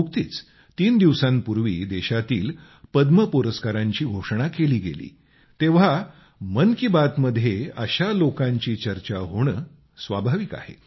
नुकतीच तीन दिवसांपूर्वी देशातील पद्म पुरस्कारांची घोषणा केली गेली आहे तेव्हा मन की बात मध्ये अशा लोकांची चर्चा होणे स्वाभाविक आहे